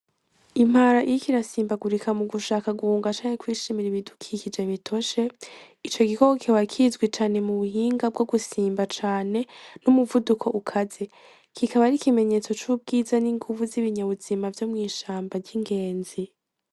Impara iriko irasimbaguriko mugushaka guhunga canke kwishimira ibidukikije bitoshe ico gikoko kikaba kizwi cane mu buhinga bwogusimba cane numuvuduko ukaze kikaba ari ikimenyetso cubwiza n'inguvu zibinyamuzima vyo mwishamba ryigenzi.